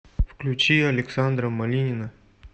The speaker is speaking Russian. включи александра малинина